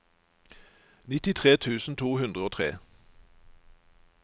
nittitre tusen to hundre og tre